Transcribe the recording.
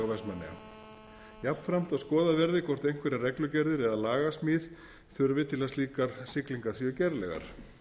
vestmannaeyja jafnframt að skoðað verði hvort einhverjar reglugerðir eða lagasmíð þurfi til að slíkar siglingar séu gerlegar